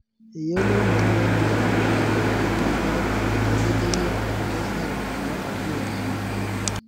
Eyiolounoto oo moyiaritin oo nkaitubulu na keret aitadedeyie enkesare nata biotisho.